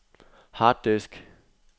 harddisk